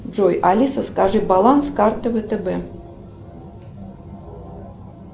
джой алиса скажи баланс карты втб